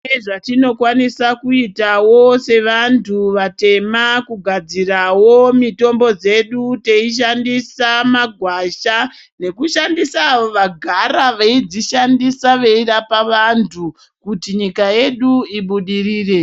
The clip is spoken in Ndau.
Pane zvatinokwanisa kuitawo sevantu vatema kugadzarawo mitombo dzedu teishandisa magwasha nekushandisa vagara veidzishandisa kurapa vantu kuti nyika yedu ibudirire .